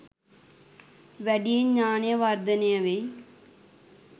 වැඩියෙන් ඥානය වර්ධනය වෙයි